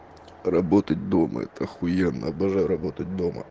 работать дома это ахуенно обожаю работать дома